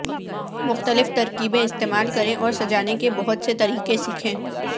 مختلف ترکیبیں استعمال کریں اور سجانے کے بہت سے طریقے سیکھیں